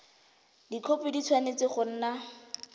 dikhopi di tshwanetse go nna